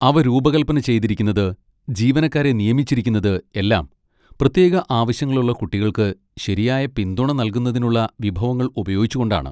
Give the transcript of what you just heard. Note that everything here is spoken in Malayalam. അവ രൂപകൽപ്പന ചെയ്തിരിക്കുന്നത്, ജീവനക്കാരെ നിയമിച്ചിരിക്കുന്നത് എല്ലാം പ്രത്യേക ആവശ്യങ്ങളുള്ള കുട്ടികൾക്ക് ശരിയായ പിന്തുണ നൽകുന്നതിനുള്ള വിഭവങ്ങൾ ഉപയോഗിച്ചുകൊണ്ടാണ്.